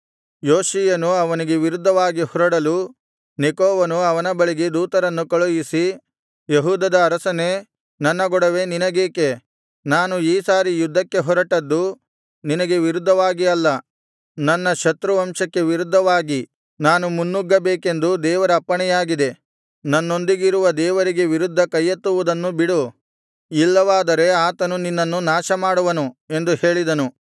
ಯೋಷೀಯನು ಅವನಿಗೆ ವಿರುದ್ಧವಾಗಿ ಹೊರಡಲು ನೆಕೋವನು ಅವನ ಬಳಿಗೆ ದೂತರನ್ನು ಕಳುಹಿಸಿ ಯೆಹೂದದ ಅರಸನೇ ನನ್ನ ಗೊಡವೆ ನಿನಗೇಕೆ ನಾನು ಈ ಸಾರಿ ಯುದ್ಧಕ್ಕೆ ಹೊರಟದ್ದು ನಿನಗೆ ವಿರುದ್ಧವಾಗಿ ಅಲ್ಲ ನನ್ನ ಶತ್ರುವಂಶಕ್ಕೆ ವಿರುದ್ಧವಾಗಿ ನಾನು ಮುನ್ನುಗ್ಗಬೇಕೆಂದು ದೇವರ ಅಪ್ಪಣೆಯಾಗಿದೆ ನನ್ನೊಂದಿಗಿರುವ ದೇವರಿಗೆ ವಿರುದ್ಧ ಕೈಯೆತ್ತುವುದನ್ನು ಬಿಡು ಇಲ್ಲವಾದರೆ ಆತನು ನಿನ್ನನ್ನು ನಾಶಮಾಡುವನು ಎಂದು ಹೇಳಿಸಿದನು